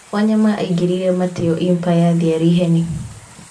Wanyama aingĩrire Mateo Impa ya Thiarĩ Heni.